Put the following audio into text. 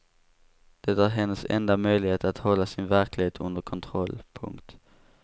Det är hennes enda möjlighet att hålla sin verklighet under kontroll. punkt